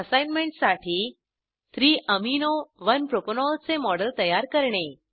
असाईनमेंटसाठी 3 amino 1 propanol चे model तयार करणे